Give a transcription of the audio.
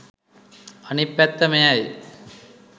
අනිත් පැත්ත මෙයයි.